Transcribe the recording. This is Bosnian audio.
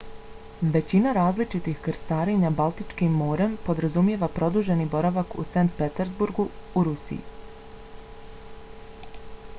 većina različitih krstarenja baltičkim morem podrazumijeva produženi boravak u st. petersburgu u rusiji